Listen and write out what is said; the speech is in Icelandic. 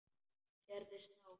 Sérðu snák?